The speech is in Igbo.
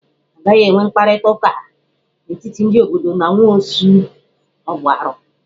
A gaghị enwe mkparịta ụka n'etiti ndị obodo na nwaosu, ọ bụ arụ.